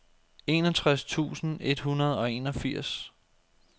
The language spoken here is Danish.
enogtres tusind et hundrede og enogfirs